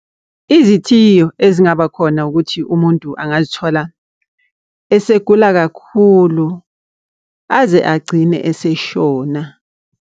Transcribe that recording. Izithiyo ezingaba khona ukuthi umuntu angazithola esegula kakhulu aze agcine eseshona.